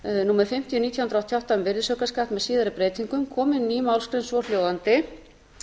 númer fimmtíu nítján hundruð áttatíu og átta um virðisaukaskatt með síðari breytingum komi ný málsgrein svohljóðandi